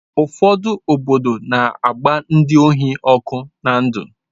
Ụfọdụ obodo na-agba ndị ohi ọkụ na ndụ